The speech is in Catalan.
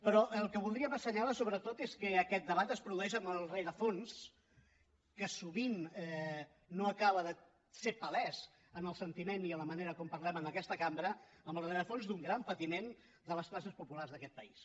però el que voldríem assenyalar sobretot és que aquest debat es produeix amb el rerefons que sovint no acaba de fer palès en el sentiment i en la manera com parlem en aquesta cambra amb el rerefons d’un gran patiment de les classes populars d’aquest país